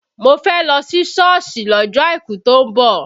Mo fẹ́ lọ sí Sọ́ọ̀sì lọ́jọ́ àìkú tó ń bọ̀